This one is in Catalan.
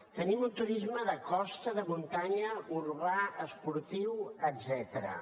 tenim un turisme de costa de muntanya urbà esportiu etcètera